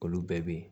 Olu bɛɛ bɛ yen